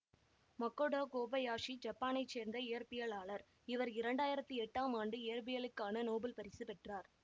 Makoto Kobayashi ஜப்பானைச் சேர்ந்த இயற்பியலாளர் இவர் இரண்டு ஆயிரத்தி எட்டாம் ஆண்டு இயற்பியலுக்கான நோபல் பரிசு பெற்றார்